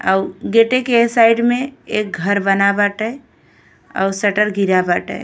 आउ गेटे के साइड में एक घर बना बाटे आउ शटर घिरा बाटे।